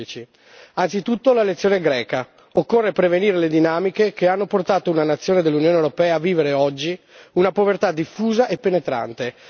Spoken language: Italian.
2015. Anzitutto la lezione greca occorre prevenire le dinamiche che hanno portato una nazione dell'Unione europea a vivere oggi una povertà diffusa e penetrante